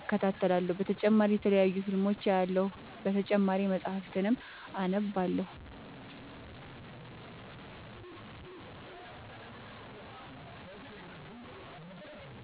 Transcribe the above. እከታተላለሁ። በተጨማሪ የተለያዩ ፊልሞችን አያለሁ። በተጨማሪም መፀሀፍትን አነባለሁ።